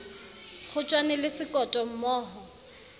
kgotjwane le sekoto mmo ho